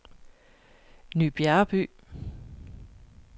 Ny Bjerreby